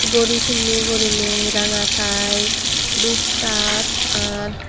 gori penney guriney ranga tie dup shirt r.